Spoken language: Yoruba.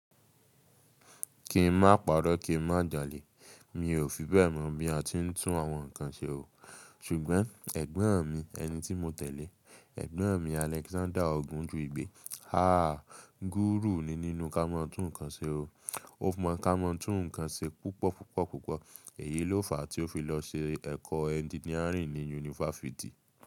Kí n má pàrọ́, kí n má jalè. Mi ò fi bẹ́ mọ̀ bí a ti ń tún àwọn ǹkan ṣe o, ṣùgbọ́n ẹ̀gbọ́n mi, ẹni tí mo tẹ̀lé, ẹ̀gbọ́n mi Alexander Ogunjuibi, ha! Guru ni nínú kámọ̀ tún ǹkan ṣe o. Ó mọ̀ kámọ̀ tún ǹkan ṣe púpọ̀ púpọ̀ púpọ̀. Èyí ló fà tí ó fi lọ ṣe ẹ̀kọ́ engineering ní yunifásítì.